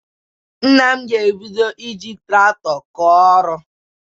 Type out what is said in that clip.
Nna m ga-ebido iji traktọ kọọ ọrụ.